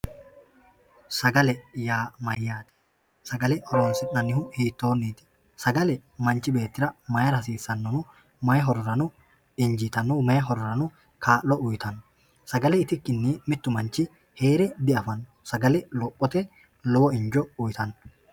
Sagale yaa mayyaate? Sagale horonsi'nannihu hiittoonniti? sagale manchi beettira mayra hasiissanno? Mayi hororano kaa'litanno, may horono uytanno? Sagale itikkinni hee're diafanno, sagale lophote lowo injo uytanno.